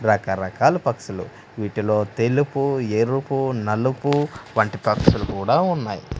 రకరకాలు పక్షులు వీటిలో తెలుపు ఎరుపు నలుపు వంటి పక్షులు కూడా ఉన్నాయ్.